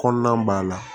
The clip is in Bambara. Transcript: Kɔnɔna b'a la